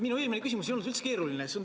Minu eelmine küsimus ei olnud üldse keeruline.